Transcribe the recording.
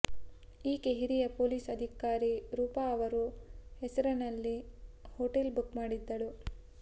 ಈಕೆ ಹಿರಿಯ ಪೊಲೀಸ್ ಅಧಿಕಾರಿ ರೂಪಾ ಅವರು ಹೆಸರಲ್ಲಿ ಹೋಟೆಲ್ ಬುಕ್ ಮಾಡಿದ್ದಳು